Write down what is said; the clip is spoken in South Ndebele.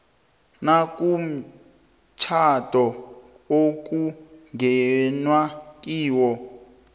nakumtjhado okungenwe kiwo